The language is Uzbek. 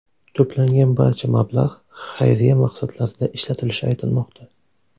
To‘plangan barcha mablag‘ xayriya maqsadlarida ishlatilishi aytilmoqda.